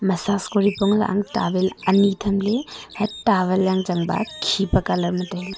saf kori pong lah ang tavel ani tham ley tavel yang chanba khipe kalar ma taile.